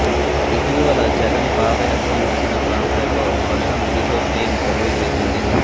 ఇటీవల జగన్ పాదయాత్ర ముగిసిన ప్రాంతాల్లో ప్రశాంత్ కిషోర్ టీం సర్వే చేసింది